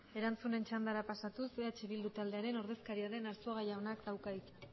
erantzunen txandara pasatuz eh bildu taldearen ordezkaria den arzuaga jaunak dauka hitza